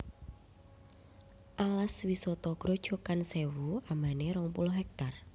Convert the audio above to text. Alas Wisata Grojogan Sèwu ambané rong puluh hektar